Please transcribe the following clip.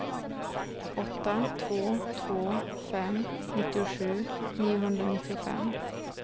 åtta två två fem nittiosju niohundranittiofem